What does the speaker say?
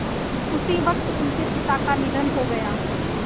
उसी वक़्त उनके पिता का निधन हो गया